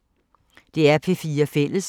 DR P4 Fælles